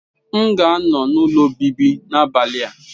M ga-anọ n'ụlọ obibi n'abalị a.